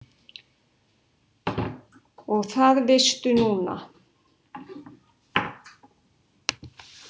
Og það veistu núna.